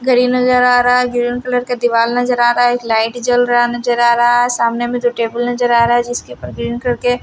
घड़ी नजर आ रहा है ग्रीन कलर का दीवार नजर आ रहा है एक लाइट जल रहा नजर आ रहा है सामने में दो टेबल नजर आ रहा है जिसके ऊपर ग्रीन कलर के--